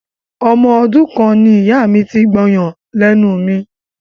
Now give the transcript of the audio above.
Ọmọ ọdún kan ni ìyá mi ti gbọyàn lẹ́nu mi.